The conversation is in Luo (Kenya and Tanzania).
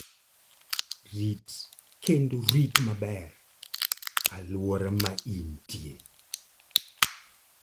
Rit kendo rit maber alwora ma intie.